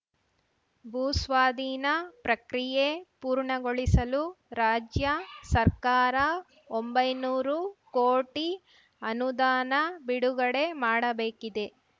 ಭೂಸ್ವಾಧೀನ ಪ್ರಕ್ರಿಯೆ ಪೂರ್ಣಗೊಳಿಸಲು ರಾಜ್ಯ ಸರ್ಕಾರ ಒಂಬೈನೂರು ಕೋಟಿ ಅನುದಾನ ಬಿಡುಗಡೆ ಮಾಡಬೇಕಿದೆ